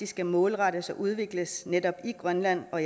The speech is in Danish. skal målrettes og udvikles netop i grønland og